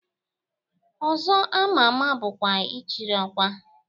Ọzọ ama ama bụkwa Ịchịrị Ọkwa.